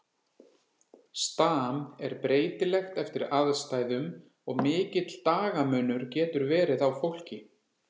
Stam er breytilegt eftir aðstæðum og mikill dagamunur getur verið á fólki.